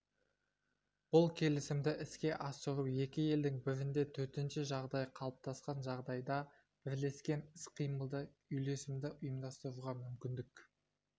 бұл келісімді іске асыру екі елдің бірінде төтенше жағдай қалыптасқан жағдайда бірлескен іс-қимылды үйлесімді ұйымдастыруға мүмкіндік